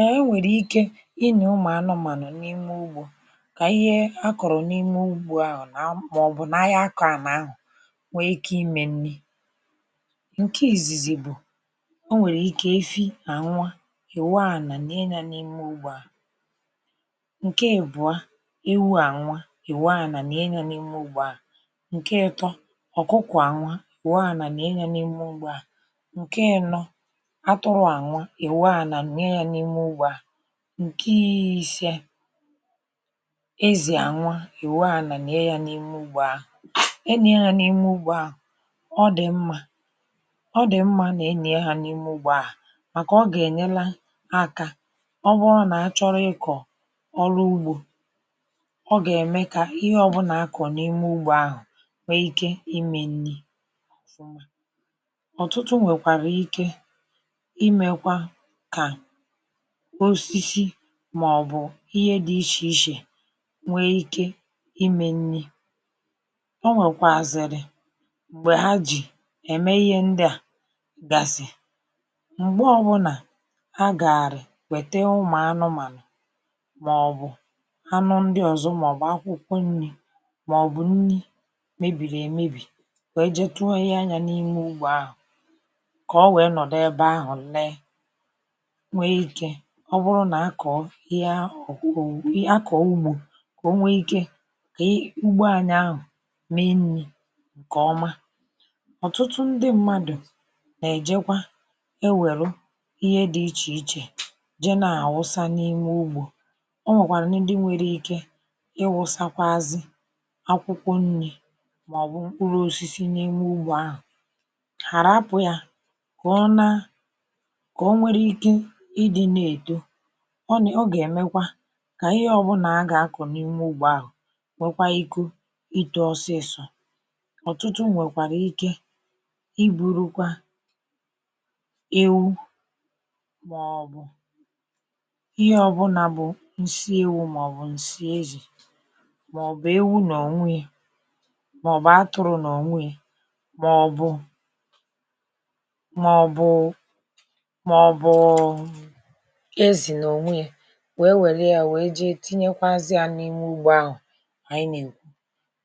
Ee e nwere ike ínyì ụmụ anụmanụ n'ime úgbo ka ihe a kọrọ n'ime ugbo ahụ na maọbụ na a ya akọ ana ahụ nwee ike ime nni. Nke izizi bụ e nwee ike efi na nwa e wuo ana nie ya n'ime ugbo ahụ. Nke ị́bụa ewu a nwua e wuo ana nie ya n'ime ugbo a. Nke ị́tọ́ ọkụkọ a nwụa e wuo ana nie ya n'ime ugbo a. Nke ị́nọ atụrụ a nwụọ e wuo ana nie ya n'ime ugbo a. Nke ise ezi a nwụa e wuo ana nie ya n'ime ugbo a. E nie ya n'ime ugbo a, ọ dị mma ọ dị mma ma e nyie ha n'ime ugbo a maka ọ ga-enyela aka ọ bụrụ na a chọlọ ịkọ ọ́lụ́ ygbo, ọ ga-eme ka ihe ọbụla a kọrọ n'ime ugbo ahụ nwee ike ime nni ọfụma. Ọtụtụ nwekwara ike imekwa ka osisi maọbụ ihe dị iche iche nwee ike ime nni. O nwekwụazịrị mgbe ha ji eme ihe ndị a gasị. Mgbe ọbụla a gaarị wete ụmụ anụmanụ maọbụ anụ ndị ọzọ maọbụ akwụkwọ nni maọbụ nni mebiri emebi wee jee tunye ya n'ime ugbo ahụ ka ọ wee nọdị ebe ahụ lee nwee ike ọ bụrụ na a kọọ ihe ahụ a kọọ ugbo nwee ike kei ka ugbo anyị ahụ mee nni nke ọma. Ọtụtụ ndị mmadụ na-ejekwa ewelụ ihe dị iche iche jee na-awụsa n'ime ugbo. O nwekwalụnụ ndị nwere ike ịwụsazị akwụkwọ nni maọbụ mkpụrụ osisi n'ime ugbo ahụ. Ha a rapụ ya ka ọ na ka o nwere ike ịdị na-eto ọ ne ọ ga-emekwa ka ihe ọbụla a ga-akọ n'ime ugbo ahụ gbakwaa iku ito ọsịsọ. Ọtụtụ nwekwara ike iburukwa ewu maọbụ ihe ọbụla bụ nsị ewu maọbụ nsị ezi maọbụ ewu n'onwie maọbụ atụrụ n'onwie maọbụ maọbụụụ maọbụụụ ezi n'onwie wee welịa wee jee tinyekwazịa n'ime ugbo ahụ anyị na-ekwu.